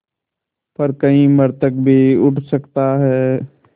पर कहीं मृतक भी उठ सकता है